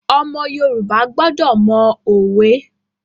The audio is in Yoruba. Ọmọ Yorùbá gbọdọ̀ mọ òwe.